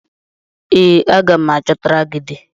Ee, aga m achọtara gị di